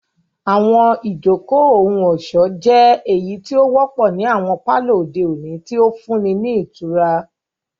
Àwọn ijoko ohun-ọṣọ jẹ eyiti o wọpọ ni awọn palọ ode oni, ti o funni ni itura.